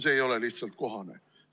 See ei ole lihtsalt kohane.